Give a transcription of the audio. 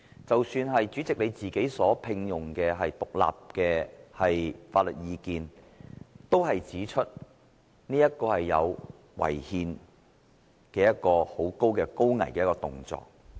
即使主席你所聘用的獨立法律人員的意見，也指出這是一個很可能違憲的高危動作。